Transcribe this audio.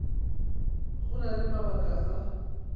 go na le mabaka a